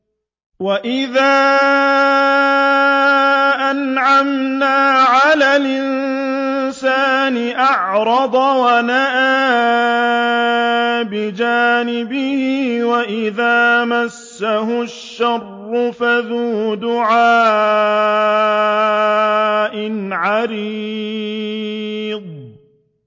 وَإِذَا أَنْعَمْنَا عَلَى الْإِنسَانِ أَعْرَضَ وَنَأَىٰ بِجَانِبِهِ وَإِذَا مَسَّهُ الشَّرُّ فَذُو دُعَاءٍ عَرِيضٍ